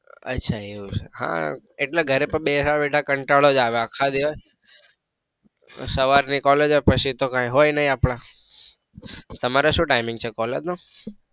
અચ્છા એવું છે. હા એટલે ઘરે બેઠા બેઠા કંટાળો જ આવે આખા દિવસ સવાર ની collage હોય પછી તો કાંઈ હોય નઈ આપડે તમારે શું time છે collage નો?